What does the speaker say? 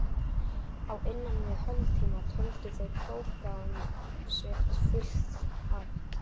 Á innan við hálftíma töldu þeir prógramm sitt fullæft.